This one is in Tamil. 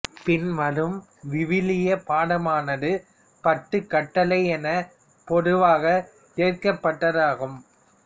பின்வரும் விவிலிய பாடமானது பத்துக் கட்டளை எனப் பொதுவாக ஏற்கப்பட்டதாகும்